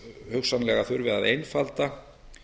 hugsanlega þurfi að einfalda